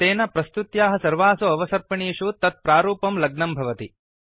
तेन प्रस्तुत्याः सर्वासु अवसर्पिणीषु तत् प्रारूपं लग्नं भवति